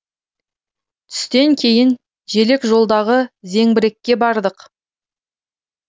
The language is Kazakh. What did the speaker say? түстен кейін желекжолдағы зеңбірекке бардық